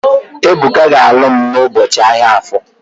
Ebuka ga-alụ n'ụbọchị ahia Afọ